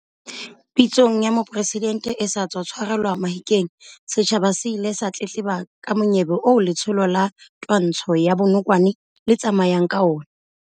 Pitsong ya Mopresidente e sa tswa tshwarelwa Mahikeng, setjhaba se ile sa tletleba ka monyebe oo letsholo la twantsho ya bonokwane le tsamayang ka ona.